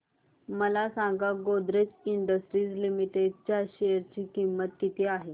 मला सांगा Godrej industries limited च्या शेअर ची किंमत किती आहे